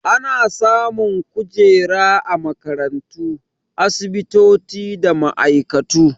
Ana samun kujera a makarantu, asibitoci da ma'aikatu.